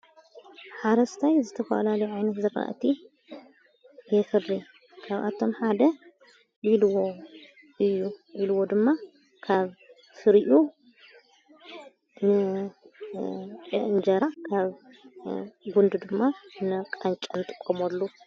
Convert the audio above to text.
ሓረስታይ ዝተኳላልዓነት ዘኻእቲ የኽሪ ካብኣቶም ሓደ ልዎ ዩ ኢልዎ ድማ ካብ ፍርኡ ንኤእንጀራ ካብ ጕንድ ድማ ነቃንጨንቲ ንትቆመሉ ::